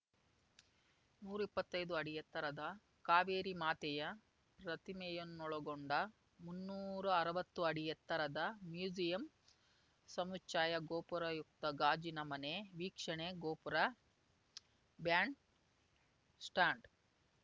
ನೂರಾ ಇಪ್ಪತ್ತೈದು ಅಡಿ ಎತ್ತರದ ಕಾವೇರಿ ಮಾತೆಯ ಪ್ರತಿಮೆಯನ್ನೊಳಗೊಂಡ ಮುನ್ನೂರಾ ಅರ್ವತ್ತು ಅಡಿ ಎತ್ತರದ ಮ್ಯೂಸಿಯಂ ಸಮುಚ್ಚಯ ಗೋಪುರಯುಕ್ತ ಗಾಜಿನ ಮನೆ ವೀಕ್ಷಣೆ ಗೋಪುರ ಬ್ಯಾಂಡ್‌ ಸ್ಟಾಂಡ್‌